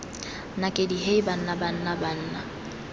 nakedi hei banna banna banna